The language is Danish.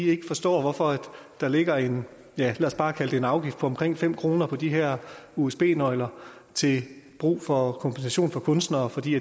ikke forstår hvorfor der ligger ja lad os bare kalde det en afgift på omkring fem kroner på de her usb nøgler til brug for kompensation for kunstnere for de